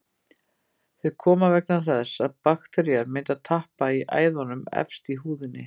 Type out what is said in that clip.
Þau koma vegna þess að bakterían myndar tappa í æðum efst í húðinni.